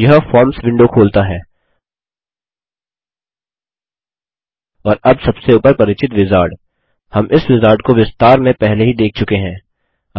यह forms window खोलता है और अब सबसे ऊपर परिचित विजार्ड हम इस विजार्ड को विस्तार में पहले ही देख चुके हैं